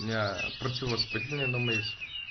меня противовоспалительная дома есть